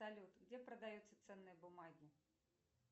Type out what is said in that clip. салют где продаются ценные бумаги